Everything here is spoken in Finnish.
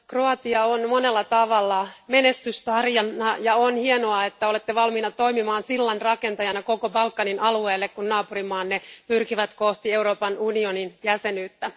Kroatia on monella tavalla menestystarina, ja on hienoa, että olette valmiina toimimaan sillanrakentajana koko Balkanin alueelle, kun naapurimaanne pyrkivät kohti Euroopan unionin jäsenyyttä.